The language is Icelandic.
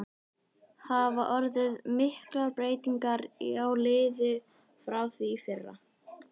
Hafa orðið miklar breytingar á liðinu frá því í fyrra?